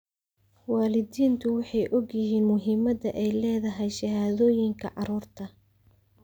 Waalidiintu waxay og yihiin muhiimadda ay leedahay shahaadooyinka carruurta.